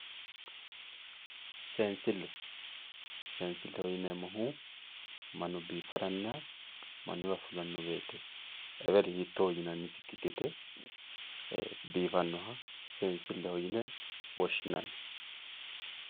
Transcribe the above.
seensille seensilleho yineemo woyte mannu biifara eweli hiittooho yinanisikki gede biifannoha seensilleho yine woshsinanni